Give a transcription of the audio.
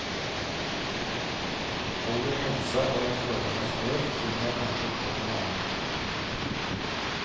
Holder helsa og jeg føler meg sprek, finner jeg kanskje på noe annet.